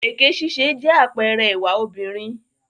Èké ṣíṣe jẹ́ àpẹẹrẹ ìwà obìnrin.